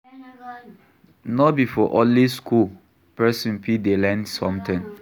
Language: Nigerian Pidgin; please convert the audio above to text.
No be for only school person fit dey learn something